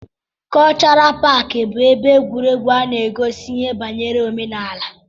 Kọlchọral paaki bụ ebe egwuregwu a na-egosi ihe banyere omenala.